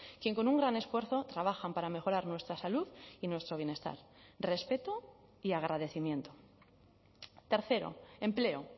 quien con un gran esfuerzo trabajan para mejorar nuestra salud y nuestro bienestar respeto y agradecimiento tercero empleo